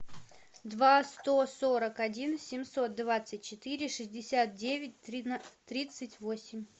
два сто сорок один семьсот двадцать четыре шестьдесят девять тридцать восемь